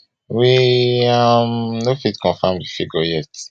we um no fit confam di figure yet